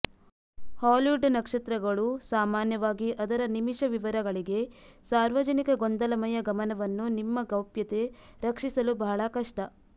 Hollywood ನಕ್ಷತ್ರಗಳು ಸಾಮಾನ್ಯವಾಗಿ ಅದರ ನಿಮಿಷ ವಿವರಗಳಿಗೆ ಸಾರ್ವಜನಿಕ ಗೊಂದಲಮಯ ಗಮನವನ್ನು ನಿಮ್ಮ ಗೌಪ್ಯತೆ ರಕ್ಷಿಸಲು ಬಹಳ ಕಷ್ಟ